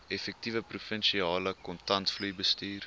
effektiewe provinsiale kontantvloeibestuur